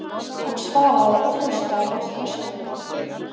Hann svaraði og hlustaði nokkra stund.